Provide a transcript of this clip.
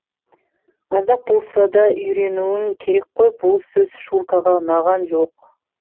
аздап болса да үйренуің керек қой бұл сөз шуркаға ұнаған жоқ